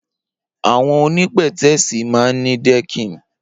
Awọn óni pẹtẹẹsi mà n ni dẹkin